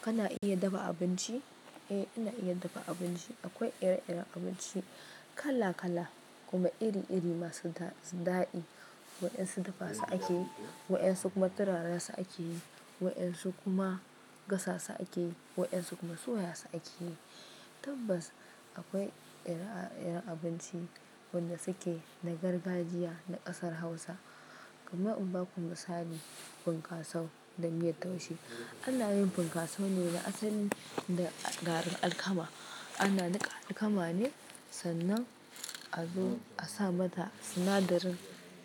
Kana iya dafa abinci? Eh ina iya dafa abinci. Akwai ire-iren abinci kala-kala kuma iri-iri masu da daɗi. Wa'dan su dafa su ake yi, wa'dan su kuma turara su ake yi, wa'dan su kuma gasa su ake yi, wa'dan su kuma soya su ake yi. Tabbas akwai ire-iren abinci wanda suke na gargajiya na ƙasar hausa kamar in baku misali fankaso da miyar taushe anayin fankasone asali da garin alkama. Ana niƙa alkama ne sannan a zo a sa mata sinadarin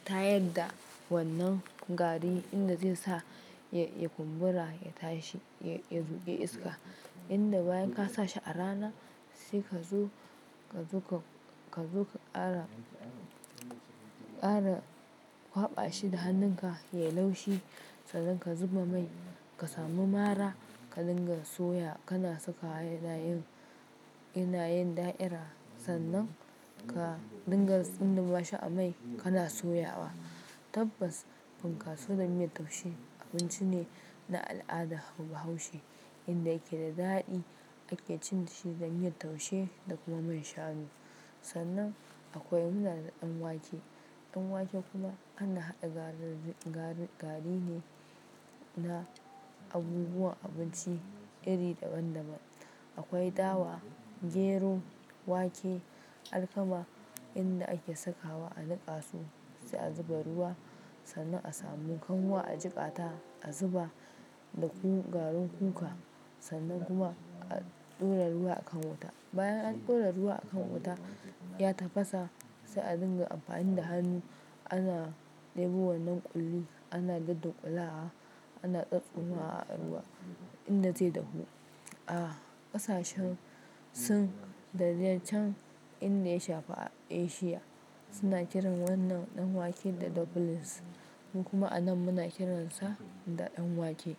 ta yadda wannan gari inda zai sa ya kumbura, ya tashi, ya zuƙi iska. Inda bayan ka sa shi a rana sai ka zo, ka zo ka ƙara, ƙara kwaɓa shi da hannunka ya yi laushi. Sannan ka zuba mai, ka samu mara, ka dinga soya. Kana sakawa yanayin, yanayin da'ira. Sannan ka dinga tsundumashi a mai kana soya wa. Tabbas funkaso da miyar taushe abinci ne na al'ada bahaushe inda yake da daɗi. Ake cin shi da miyar taushe da kuma man shanu. Sannan akwai mu da ɗan wake, ɗan wake kuma ana haɗa gari ne na abubuwan abinci iri daban-daban. Akwai dawa, gero, wake, alkama inda ake sakawa a niƙa su sai a zuba ruwa. Sannan a samu kanwa, a jiƙa ta, a zuba da garin kuka sannan kuma a ɗora ruwa a kan wuta. Bayan an ɗora ruwa a kan wuta ya tafasa sai a dinga amfani da hannu ana ɗebo wannan ƙulli, ana duddunƙula wa, ana tsotstsoma wa a ruwa inda zai dahu. A ƙasashen sin da dai can inda ya shafa Asiya suna kiran wannan ɗan wake da dumplings mu kuma anan muna kiransa da ɗan wake.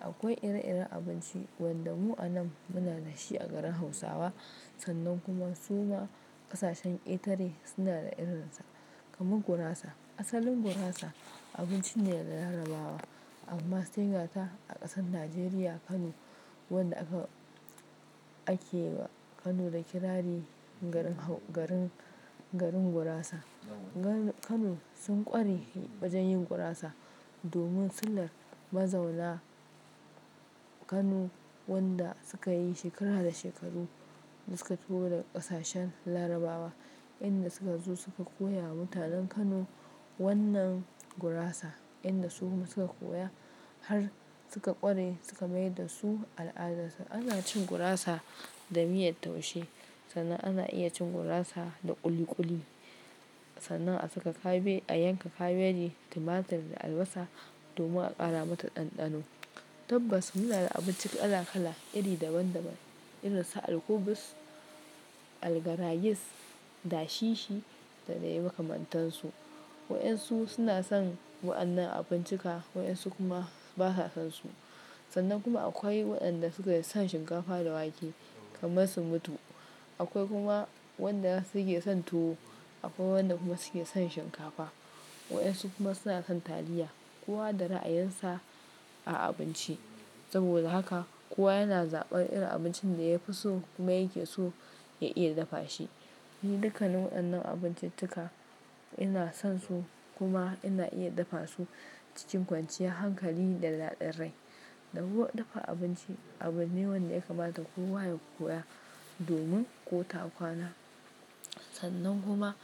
Akwai ire-iren abinci wanda mu anan muna da shi a garin Hausawa sannan kuma su ma ƙasashen ƙetare suna da irinsa kamar gurasa. Asalin gurasa abinci ne na Larabawa amma sai gata a ƙasar Najeriya Kano wanda aka ake wa Kano da kirari garin Hau-- garin, garin gurasa. Kano sun ƙware wajen yin gurasa domin silar mazauna Kano wanda suka yi shekara da shekaru da suka taho daga ƙasashen Larabawa inda suka zo suka koya wa mutanen Kano wannan gurasa inda su kuma suka koya har suka ƙware suka mai da su al'adarsu. Ana cin gurasa da miyar taushe sannan ana iya cin gurasa da ƙuli ƙuli sannan a saka kabe, a yanka kabeji, tumatir da albasa domin a ƙara mata ɗanɗano. Tabbas muna da abinci kala-kala iri daban-daban irin su alkubis, algarayis, dashishi da dai makamantansu. Wa'dan su suna son wa'annan abincikka, wa'dan su kuma basa son su. Sannan kuma akwai waɗanda suke son shinkafa da wake kamar sun mutu. Akwai kuma wanda suke son tuwo, akwai wanda kuma suke son shinkafa, wa'ɗansu kuma suna son taliya. Kowa da ra'ayinsa a abinci. Saboda haka kowa yana zaɓar irin abincin da ya fi so kuma yake so ya iya dafa shi. Ni dukkanin waɗannan abinciccika ina son su kuma ina iya dafa su cikin kwanciyar hankali da daɗin rai. Dafuwar, dafa abinci abu ne wanda ya kamata kowa ya koya domin ko ta kwana. Sannan kuma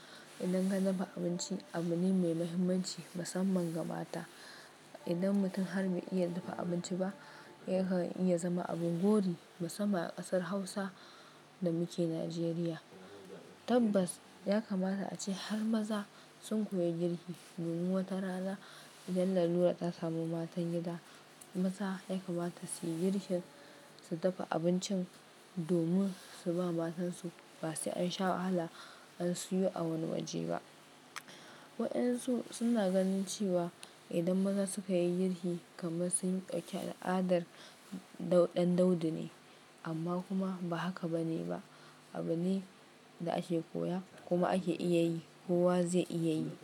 idan ka dafa abinci abu ne mai muhimmanci musamman ga mata. Idan mutum har bai iya dafa abinci ba yakan iya zama abin gori musamman a ƙasar Hausa da muke Najeriya. Tabbas ya kamata ace har maza sun koyi girki domin wata rana idan lalura ta samu matan gida, maza ya kamata su yi girkin su dafa abincin domin su ba matansu ba sai an sha wahala an siyo a wani waje ba. Wa'dan su suna ganin cewa idan maza suka yi girki kamar sun ɗauki al'adar ɗan daudu ne amma kuma ba haka bane ba. Abu ne da ake koya kuma ake iya yi, kowa zai iya yi.